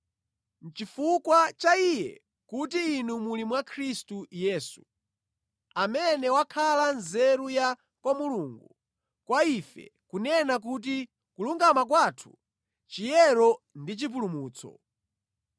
Nʼchifukwa cha Iye kuti inu muli mwa Khristu Yesu, amene wakhala nzeru ya kwa Mulungu, kwa ife, kunena kuti kulungama kwathu, chiyero ndi chipulumutso.